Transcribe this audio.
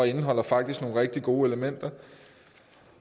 indeholder faktisk nogle rigtig gode elementer